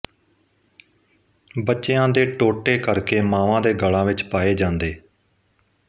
ਬੱਚਿਆਂ ਦੇ ਟੋਟੇ ਕਰ ਕੇ ਮਾਵਾਂ ਦੇ ਗਲਾਂ ਵਿੱਚ ਪਾਏ ਜਾਂਦੇ